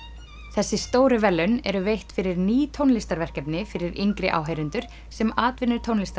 þessi stóru verðlaun eru veitt fyrir ný fyrir yngri áheyrendur sem